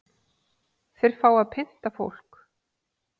Þeir fá að pynta fólk